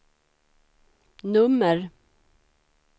nummer